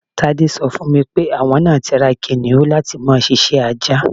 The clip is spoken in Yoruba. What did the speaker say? Tádé so̩ fún mi pé àwo̩n náà ti ra kìnìún láti máa s̩is̩é̩ ajá.